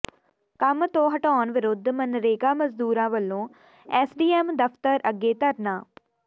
ਕੰਮ ਤੋਂ ਹਟਾਉਣ ਵਿਰੁੱਧ ਮਨਰੇਗਾ ਮਜ਼ਦੂਰਾਂ ਵਲੋਂ ਐਸਡੀਐਮ ਦਫਤਰ ਅੱਗੇ ਧਰਨਾ